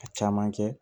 A caman kɛ